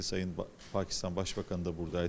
Cənab Pakistan Baş naziri də buradaydı.